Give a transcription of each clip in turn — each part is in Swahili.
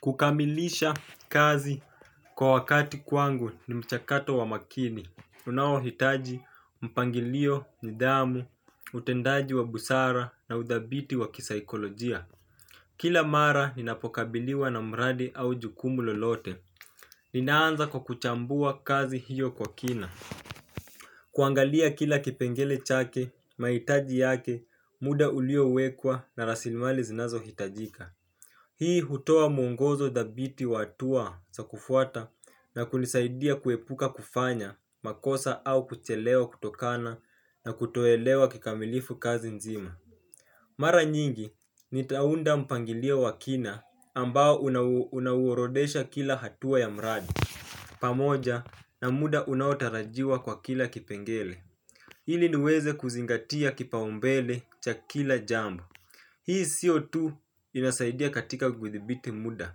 Kukamilisha kazi kwa wakati kwangu ni mchakato wa makini unaohitaji, mpangilio, nidhamu, utendaji wa busara na udhabiti wa kisaikolojia. Kila mara ninapokabiliwa na mradi au jukumu lolote ninaanza kwa kuchambua kazi hiyo kwa kina. Kuangalia kila kipengele chake, mahitaji yake, muda uliowekwa na rasimali zinazo hitajika. Hii hutoa mwongozo dhabiti wa hatua za kufuata na kunisaidia kuepuka kufanya makosa au kuchelewa kutokana na kutoelewa kikamilifu kazi nzima. Mara nyingi, nitaunda mpangilio wa kina ambao unauorodesha kila hatua ya mradi. Pamoja na muda unaotarajiwa kwa kila kipengele. Ili niweze kuzingatia kipaumbele cha kila jambo. Hii sio tu inasaidia katika kuithibiti muda,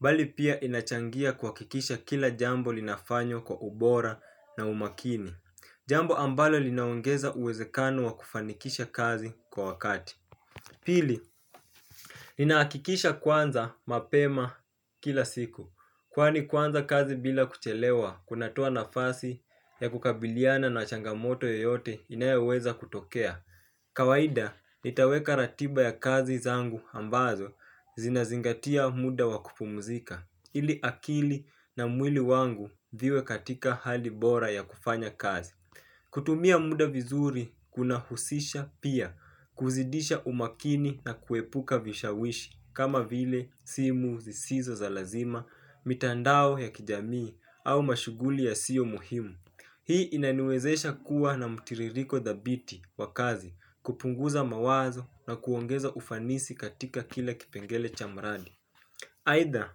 bali pia inachangia kuhakikisha kila jambo linafanywa kwa ubora na umakini. Jambo ambalo linaongeza uwezekano wa kufanikisha kazi kwa wakati. Pili, inahakikisha kwanza mapema kila siku. Kwani kwanza kazi bila kuchelewa, kunatoa nafasi ya kukabiliana na changamoto yoyote inayoweza kutokea. Kawaida nitaweka ratiba ya kazi zangu ambazo zinazingatia muda wa kupumuzika ili akili na mwili wangu viwe katika hali bora ya kufanya kazi. Kutumia muda vizuri kunahusisha pia kuzidisha umakini na kuepuka vishawishi kama vile simu zisizo za lazima, mitandao ya kijamii au mashuguli ya sio muhimu. Hii inaniwezesha kuwa na mtiririko dhabiti wa kazi kupunguza mawazo na kuongeza ufanisi katika kila kipengele cha mradi. Aidha,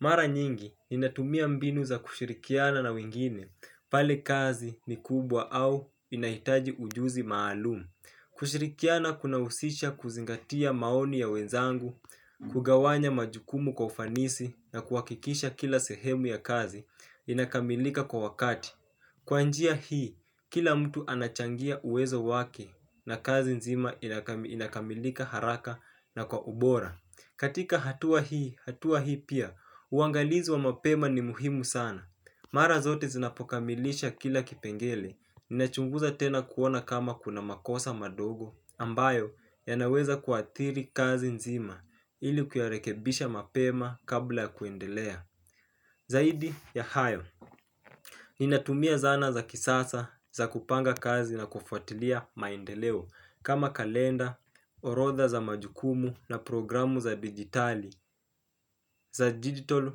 mara nyingi inatumia mbinu za kushirikiana na wengine pale kazi ni kubwa au inahitaji ujuzi maalumu. Kushirikiana kuna husisha kuzingatia maoni ya wenzangu, kugawanya majukumu kwa ufanisi na kuhakikisha kila sehemu ya kazi inakamilika kwa wakati. Kwa njia hii, kila mtu anachangia uwezo wake na kazi nzima inakamilika haraka na kwa ubora. Katika hatua hii, hatua hii pia, uangalizi wa mapema ni muhimu sana. Mara zote zinapokamilisha kila kipengele, nina chunguza tena kuona kama kuna makosa madogo ambayo, yanaweza kuathiri kazi nzima ili kuyarekebisha mapema kabla kuendelea. Zaidi ya hayo, ninatumia zana za kisasa za kupanga kazi na kufuatilia maendeleo kama kalenda, orotha za majukumu na programu za digitali za digital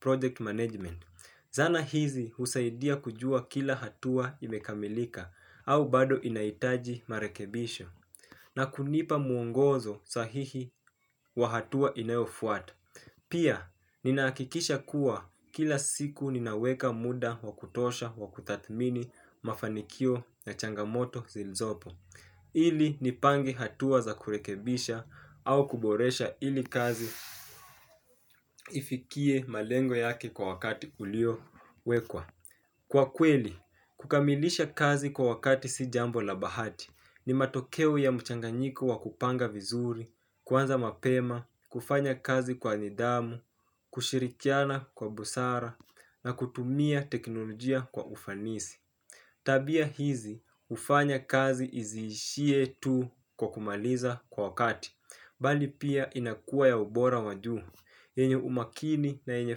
project management. Zana hizi husaidia kujua kila hatua imekamilika au bado inahitaji marekebisho na kunipa muongozo sahihi wa hatua inayofuata. Pia, ninahakikisha kuwa kila siku ninaweka muda wa kutosha wa kutathmini mafanikio na changamoto zilizopo, ili nipange hatua za kurekebisha au kuboresha ili kazi ifikie malengo yake kwa wakati uliowekwa. Kwa kweli, kukamilisha kazi kwa wakati si jambo la bahati ni matokeo ya mchanganyiko wa kupanga vizuri, kuanza mapema, kufanya kazi kwa nidhamu, kushirikiana kwa busara na kutumia teknolojia kwa ufanisi. Tabia hizi, hufanya kazi izishie tu kwa kumaliza kwa wakati, bali pia inakua ya ubora wajuu, yenye umakini na yenye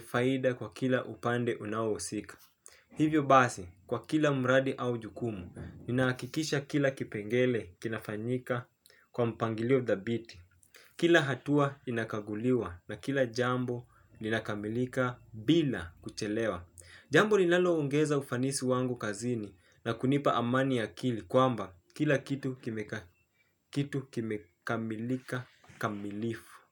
faida kwa kila upande unaohusika. Hivyo basi, kwa kila mradi au jukumu, ninahakikisha kila kipengele kinafanyika kwa mpangilio thabiti. Kila hatua inakaguliwa na kila jambo linakamilika bila kuchelewa. Jambo linalo ongeza ufanisi wangu kazini na kunipa amani ya akili kwamba kila kitu kimekamilika kamilifu.